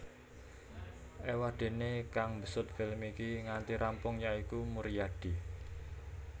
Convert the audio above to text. Éwadéné kang mbesut film iki nganti rampung ya iku Muryadi